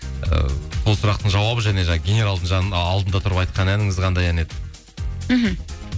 ы сол сұрақтың жауабы және жаңа генералдың алдында тұрып айтқан әніңіз қандай ән еді мхм